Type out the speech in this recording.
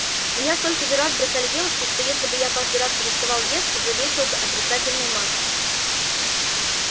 меня столько раз девушки бросали что если бы я каждый раз переставал есть уже весил бы отрицательную массу